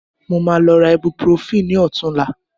Mo máa lọ ra ibuprofen ní ọ̀tunla